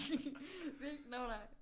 Hvilken nå nej